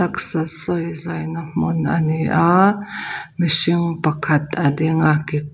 taksa sawi zawina hmun a ni a mihring pakhat a ding a ke--